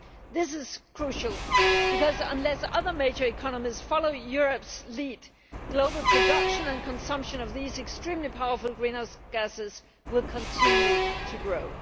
This is crucial because, unless other major economies follow Europe's lead, global production and consumption of these extremely powerful greenhouse gases will continue to grow.